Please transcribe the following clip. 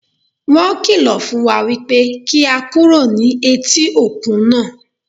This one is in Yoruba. Wọ́n kìlọ̀ fún wa wípé kí á kúrò ní etí òkun náà.